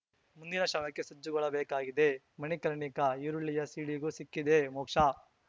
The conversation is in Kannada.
ಮುಂದಿನ ಶವಕ್ಕೆ ಸಜ್ಜುಗೊಳಬೇಕಿದೆ ಮಣಿಕರ್ಣಿಕಾ ಈರುಳ್ಳಿಯ ಸೀಳಿಗೂ ಸಿಕ್ಕಿದೆ ಮೋಕ್ಷ